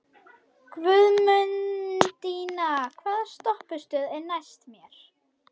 Guðmundína, hvaða stoppistöð er næst mér?